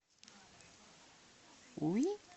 уи